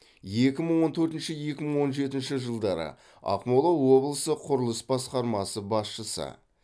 екі мың он төртінші екі мың он жетінші жылдары ақмола облысы құрылыс басқармасы басшысы